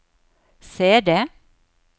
CD